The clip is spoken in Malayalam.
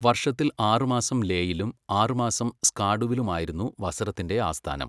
വർഷത്തിൽ ആറ് മാസം ലേയിലും ആറ് മാസം സ്കാർഡുവിലും ആയിരുന്നു വസറത്തിന്റെ ആസ്ഥാനം.